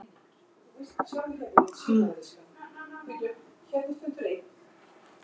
Hann varð bara að treysta á að þetta væri Blönduós.